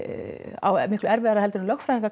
á miklu erfiðara en lögfræðingar